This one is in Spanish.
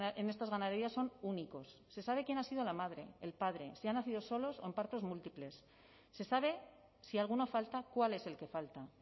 en estas ganaderías son únicos se sabe quién ha sido la madre el padre si han nacido solos o en partos múltiples se sabe si alguna falta cuál es el que falta